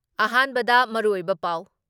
ꯑꯍꯥꯟꯕꯗ ꯃꯔꯨꯑꯣꯏꯕ ꯄꯥꯎ